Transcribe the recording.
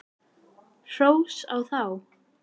Hrós á þá!